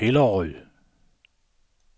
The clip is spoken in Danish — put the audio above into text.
Hillerød